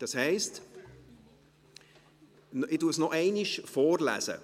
Das heisst … Ich lese ihn noch einmal vor: